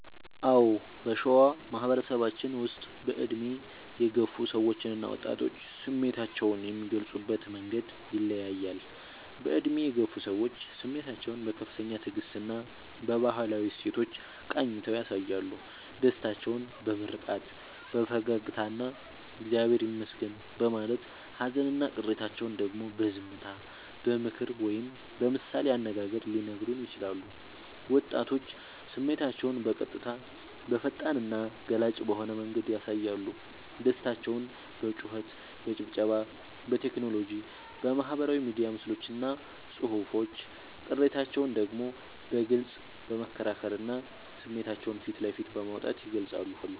አዎ: በሸዋ ማህበረሰባችን ውስጥ በዕድሜ የገፉ ሰዎችና ወጣቶች ስሜታቸውን የሚገልጹበት መንገድ ይለያያል፦ በዕድሜ የገፉ ሰዎች፦ ስሜታቸውን በከፍተኛ ትዕግስትና በባህላዊ እሴቶች ቃኝተው ያሳያሉ። ደስታቸውን በምርቃት፣ በፈገግታና «እግዚአብሔር ይመስገን» በማለት: ሃዘንና ቅሬታቸውን ደግሞ በዝምታ: በምክር ወይም በምሳሌ አነጋገር ሊነግሩን ይችላሉ። ወጣቶች፦ ስሜታቸውን በቀጥታ: በፈጣንና ገላጭ በሆነ መንገድ ያሳያሉ። ደስታቸውን በጩኸት: በጭብጨባ: በቴክኖሎጂ (በማህበራዊ ሚዲያ ምስሎችና ጽሑፎች): ቅሬታቸውን ደግሞ በግልጽ በመከራከርና ስሜታቸውን ፊት ለፊት በማውጣት ይገልጻሉ።